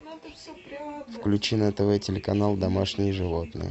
включи на тв телеканал домашние животные